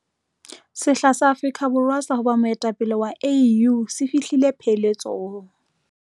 Sehla sa Afrika Borwa sa ho ba moetapele wa AU se fihlile pheletsong.